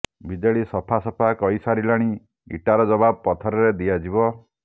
BJD ସଫା ସଫା କହିସାରିଲାଣି ଇଟାର ଜବାବ ପଥରରେ ଦିଆଯିବ